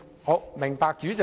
好的，明白，主席。